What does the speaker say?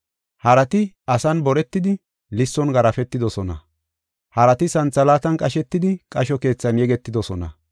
Harati asan boretidi lisson garaafetidosona; harati santhalaatan qashetidi qasho keethan yegetidosona.